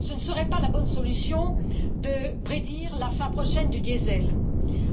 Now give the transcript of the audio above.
Ce ne serait pas la bonne solution de prédire la fin prochaine du diésel,